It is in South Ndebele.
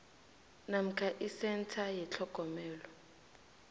namkha isentha yetlhogomelo